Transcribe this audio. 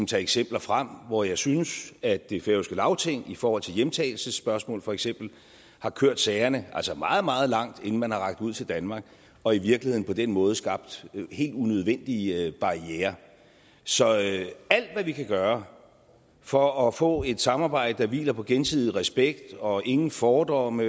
tage eksempler frem hvor jeg synes at det færøske lagting i forhold til hjemtagelsesspørgsmål for eksempel har kørt sagerne meget meget langt inden man har rakt ud til danmark og i virkeligheden på den måde skabt helt unødvendige barrierer så alt hvad vi kan gøre for at få et samarbejde der hviler på gensidig respekt og ingen fordomme